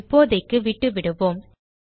இப்போதைக்கு விட்டுவிடுவோம்